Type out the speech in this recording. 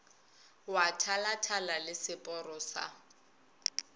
wa thalathala le seporo sa